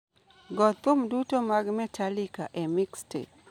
go thum duto mag Metallica e mixtape